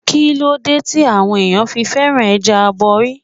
Kíló dé tí àwọn ẹ̀yàn fi féràn ẹja aborí?